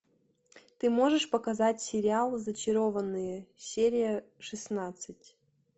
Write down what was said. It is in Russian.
ты можешь показать сериал зачарованные серия шестнадцать